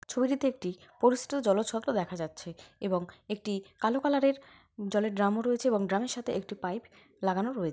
ছবিটিতে একটি পরিস্তু জলের ছলকা দেখা যাচ্ছে এবং একটি কালো কালারের জলের ড্রামও রয়েছে এবং ড্রামের সাথে একটা পাইপ লাগানো রয়েছে ।